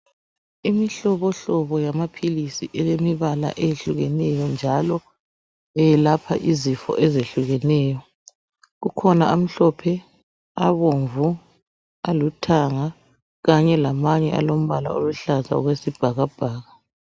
Imihlobohlobo yamaphilizi elemibala eyehlukeneyo, njalo eyelapha izifo ezehlukeneyo, kukhona amhlophe, abomvu, alithanga kanye lamanye alombala oluhlaza okwesibhakabhaka.